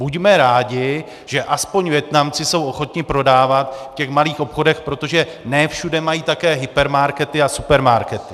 Buďme rádi, že aspoň Vietnamci jsou ochotni prodávat v těch malých obchodech, protože ne všude mají také hypermarkety a supermarkety.